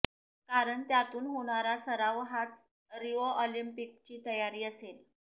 कारण त्यातून होणारा सराव हाच रिओ ऑलिंपिकची तयारी असेल